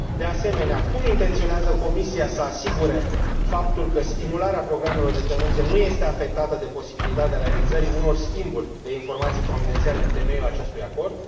De asemenea, cum intenționează Comisia să asigure faptul că stimularea programelor de clemență nu este afectată de posibilitatea realizării unor schimburi de informații confidențiale în temeiul acestui acord?